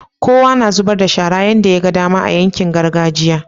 kowa na zubar da shara yadda yaga dama a yankin gargajiya